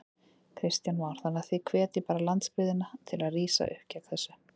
Kristján Már: Þannig að þið hvetjið bara landsbyggðina til að rísa upp gegn þessu?